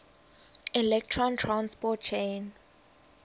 electron transport chain